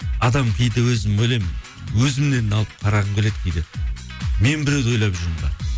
адам кейде өзім ойлаймын өзімнен алып қарағым келеді кейде мен біреуді ойлап жүрмін бе